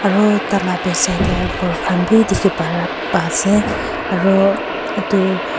Aro taila backside te ghor khan bi dekhi para pa ase aro etu--